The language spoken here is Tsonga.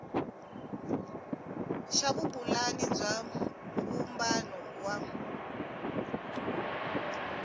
xa vupulani bya vumbano wa